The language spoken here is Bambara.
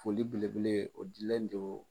Foli belebele o dilen don